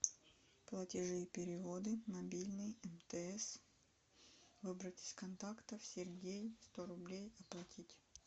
платежи и переводы мобильный мтс выбрать из контактов сергей сто рублей оплатить